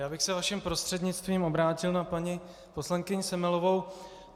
Já bych se vaším prostřednictvím obrátil na paní poslankyni Semelovou.